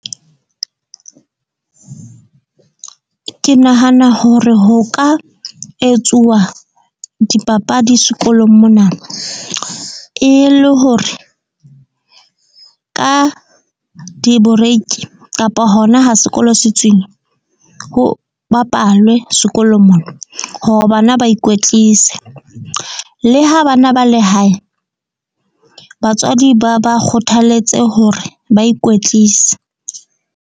Ke nahana hore ho ka etsuwa dipapadi sekolong mona e le hore ka di boreki kapa hona ha sekolo se tswile, ho bapalwe sekolo mona. Hore bana ba ikwetlise le ha bana ba le hae batswadi ba ba kgothaletse hore ba ikwetlise.